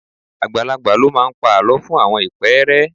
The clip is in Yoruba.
Àgbàlagbà ló máa ń pa àlọ́ fún àwọn ìpẹ́ẹ́rẹ́